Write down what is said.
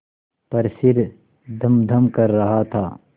पर सिर धमधम कर रहा था